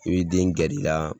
I b'i den gɛr'i la